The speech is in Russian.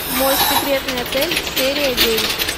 мой секретный отель серия девять